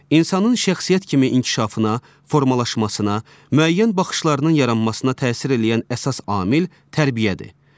İnsanın şəxsiyyət kimi inkişafına, formalaşmasına, müəyyən baxışlarının yaranmasına təsir eləyən əsas amil tərbiyədir.